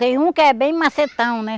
Tem um que é bem macetão, né?